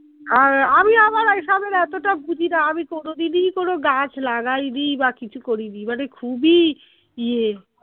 আর আমি আবার ঐসবের এতটা বুঝি না আমি কোনোদিনই কোনো গাছ লাগাইনি বা কিছু করিনি মানে খুবই ইয়ে